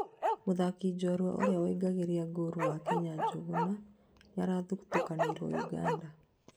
mũthaki Njorua ũria woingĩragia ngoorũ wa Kenya Njuguna nĩarathũtũkanirio Uganda